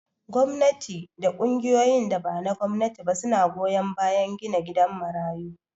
Gwamnati da ƙungiyoyin da bana gwamnati ba suna goyan bayan gina gidan marayu